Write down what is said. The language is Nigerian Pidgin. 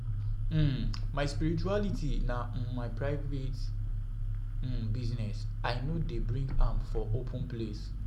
My spirituality na my private business, I no dey bring am open for open place.